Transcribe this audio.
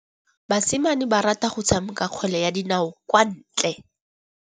Basimane ba rata go tshameka kgwele ya dinaô kwa ntle.